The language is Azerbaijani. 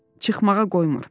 Çıxmağa qoymur.